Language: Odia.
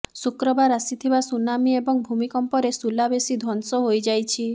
ଶୁକ୍ରବାର ଆସିଥିବା ସୁନାମି ଏବଂ ଭୂମିକମ୍ପରେ ସୁଲାବେସୀ ଧ୍ୱଂସ ହୋଇଯାଇଛି